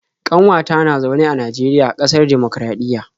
ƙanwata na zaune a Najeriya, ƙasar dimokuraɗiyya